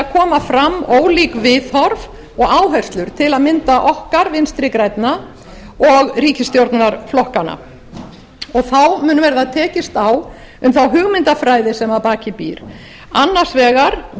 koma fram ólík viðhorf og áherslur til að mynda okkar vinstri grænna og ríkisstjórnarflokkanna þá mun verða tekist á um þá hugmyndafræði sem að baki býr annars vegar